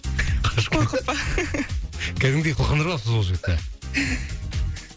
қашып кетті қорқып па кәдімгідей қылқындырып алыпсыз ол жігітті